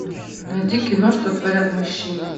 найди кино что творят мужчины